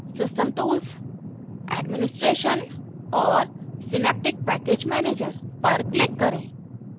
system tools administration और synaptic package manager पर click करें